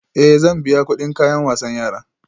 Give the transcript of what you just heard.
Ee, zan biya kuɗin kayan wasan yara